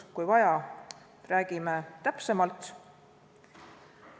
Kui vaja, räägime sellest täpsemalt.